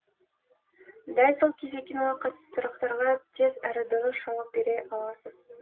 дәл сол кезде киноға қатысты сұрақтарға тез әрі дұрыс жауап бере аласыз